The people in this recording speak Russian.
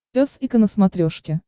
пес и ко на смотрешке